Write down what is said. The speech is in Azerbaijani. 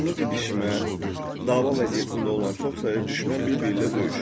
Davamlı didişmə, dava vəziyyətində olan çox sayda düşmən bir-biri ilə döyüşür.